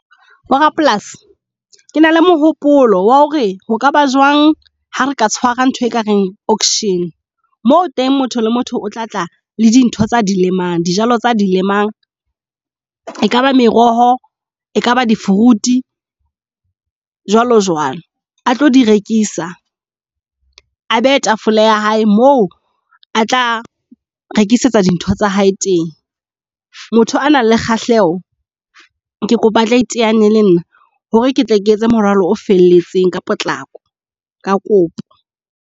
Bo rapolasi ke na le mohopolo wa hore ho kaba jwang ha re ka tshwara ntho e ka reng auction. Moo teng motho le motho o tla tla le dintho tsa di lemang dijalo tsa di lemang. Ekaba meroho e kaba di-fruit jwalo jwalo a tlo di rekisa, a beye tafole ya hae, mo a tla rekisetsa dintho tsa hae teng. Motho a nang le kgahleho ke kopa o tla iteanye le nna hore ketle ke etse moralo o felletseng ka potlako. Ka kopo.